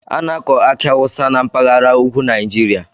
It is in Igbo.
A na-akọ aki awusa na mpaghara ugwu Naijiria.